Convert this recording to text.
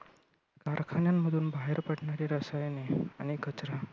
कारखान्यांमधून बाहेर पडणारी रसायने आणि कचरा.